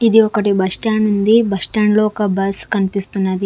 ఇది ఒకటి bus stand ఉంది బస్ స్టాండ్ లో ఒక బస్ కనిపిస్తున్నది.